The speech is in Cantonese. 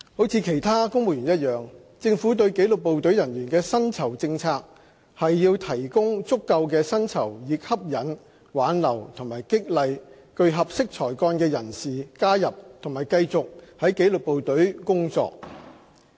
如其他公務員一樣，政府對紀律部隊人員的薪酬政策是提供足夠的薪酬以吸引、挽留和激勵具合適才幹的人士加入及繼續在紀律部隊工作。